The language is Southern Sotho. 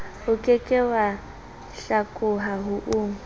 oke ke wa hlakoha o